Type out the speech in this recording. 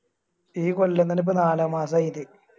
ഈ കൊല്ലം തന്നെ ഇപ്പൊ നാലാം മാസായി